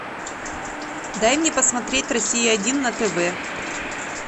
дай мне посмотреть россия один на тв